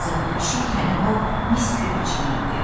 Kağıza bükülü şey həmin o mis kürəciyi idi.